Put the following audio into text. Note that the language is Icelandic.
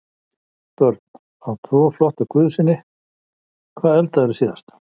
Börn: Á tvo flotta guðsyni Hvað eldaðir þú síðast?